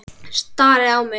Stari á mig.